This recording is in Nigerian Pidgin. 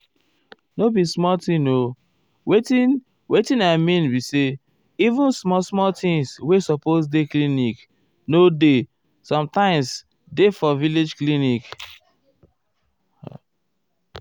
nor be small thing o wetin wetin i mean be say even small small things wey supose dey clinic nor dey sometimes dey for village clinic.